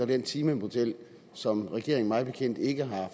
den timemodel som regeringen mig bekendt ikke har